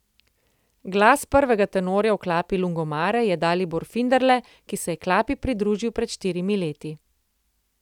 Glas prvega tenorja v klapi Lungomare je Dalibor Finderle, ki se je klapi pridružil pred štirimi leti.